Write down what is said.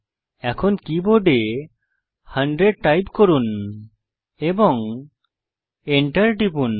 এখন কীবোর্ডে 100 টাইপ করুন এবং enter টিপুন